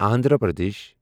Andhra Pradesh